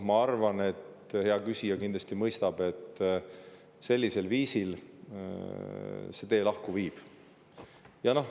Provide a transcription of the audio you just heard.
Ma arvan, hea küsija kindlasti mõistab, et sellisel viisil need teed lahku viivadki.